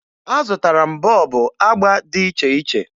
Azụtara m bọọbụ agba dị iche iche